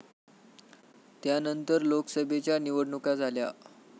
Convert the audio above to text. त्यानंतर लोकसभेच्या निवडणुका झाल्या.